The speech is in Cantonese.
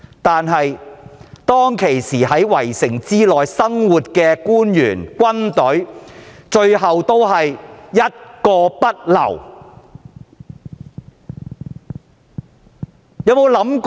但是，當時在城內的官員和軍隊，最終都是一個不留。